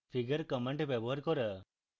figure command ব্যবহার করা